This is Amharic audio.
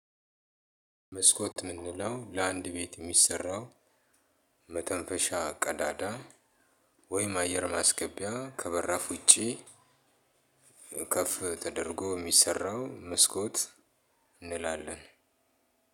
መስኮት ምንለው ለአንድ ቤት የሚሰራው መተንፈሻ ቀዳዳ ወይም አየር ማሰገቢያ ከበራፍ ውጪ ከፍ ተደርጎ እሚሰራው መስኮት እንላለን።